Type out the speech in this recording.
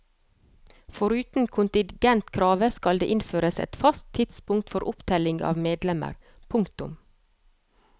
Foruten kontingentkravet skal det innføres et fast tidspunkt for opptelling av medlemmer. punktum